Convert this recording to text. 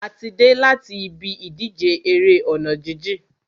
A ti dé láti ibi ìdíje eré ọ̀nà jíjìn.